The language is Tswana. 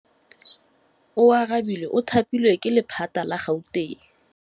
Oarabile o thapilwe ke lephata la Gauteng.